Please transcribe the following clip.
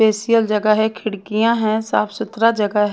पेसियल जगह हे खिडकिया हे साफ सुथरा जगह हैं।